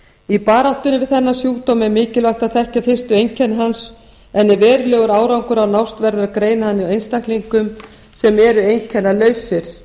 í baráttunni við þennan sjúkdóm er mikilvægt að þekkja fyrstu einkenni hans en ef verulegur árangur á að nást verður að greina hann hjá einstaklingum sem eru einkennalausir